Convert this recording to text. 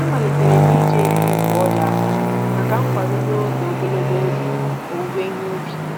Amalitere m iji eriri nkwojiaka maka nkwado n'oge ogologo oge owuwe ihe ubi.